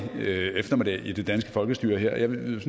eftermiddag i det danske folkestyre jeg vil